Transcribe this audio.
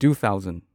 two thousand